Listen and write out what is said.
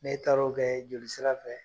Ne taar'o bɛɛ jolisira fɛ.